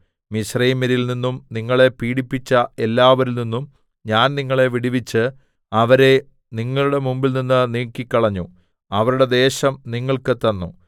മിസ്രയീമ്യരിൽ നിന്നും നിങ്ങളെ പീഡിപ്പിച്ച എല്ലാവരിൽ നിന്നും ഞാൻ നിങ്ങളെ വിടുവിച്ച് അവരെ നിങ്ങളുടെ മുമ്പിൽനിന്ന് നീക്കിക്കളഞ്ഞു അവരുടെ ദേശം നിങ്ങൾക്ക് തന്നു